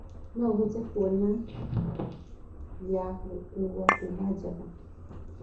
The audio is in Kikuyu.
no hote kũona ya gukũũwa kũma java